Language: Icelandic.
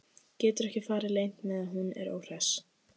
Getur ekki farið leynt með að hún er óhress.